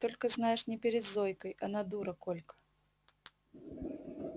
только знаешь не перед зойкой она дура колька